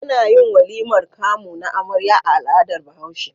Anayin walimar kamu na amarya a al'adar bahaushe